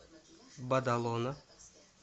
бадалона